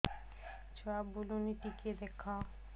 ଛୁଆ ବୁଲୁନି ଟିକେ ଦେଖ